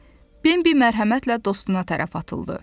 Bembi mərhəmətlə dostuna tərəf atıldı.